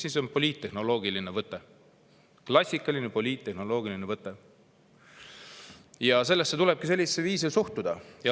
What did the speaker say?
See on klassikaline poliittehnoloogiline võte ja sellesse tulebki sellisel viisil suhtuda.